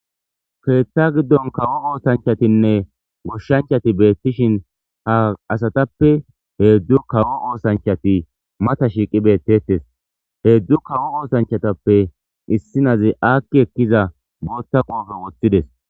keeththa giddon kawo oosanchatinne goshshanchati beettishin ha asatappe heedzdzu kawo oosanchati mata shiiqi beettettes heedzdzu kawo oosanchatappe issinazi aakki ekkiza boothta qoofe woththides